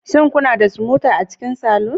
Shin kuna da smoother a cikin saloon